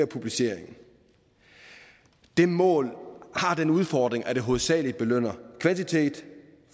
publicering det mål har den udfordring at det hovedsagelig belønner kvantitet